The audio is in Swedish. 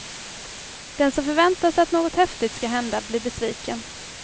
Den som förväntar sig att något häftigt skall hända blir besviken.